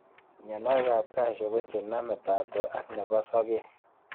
Mionwokikab cashew ko chenome taptok ak nebo sokek